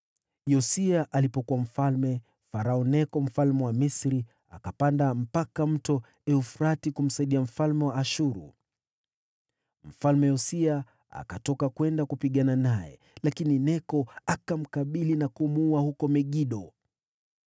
Yosia alipokuwa mfalme, Farao Neko mfalme wa Misri akapanda mpaka Mto Frati kumsaidia mfalme wa Ashuru. Mfalme Yosia akatoka kwenda kupigana naye, lakini Neko akamkabili na kumuua huko Megido.